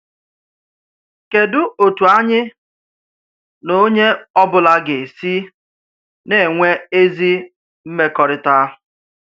Kédu òtù ányị̀ nà ònyé ọ̀bụ̀là gà-èsì nà-enwe ezi mmèkọrítà?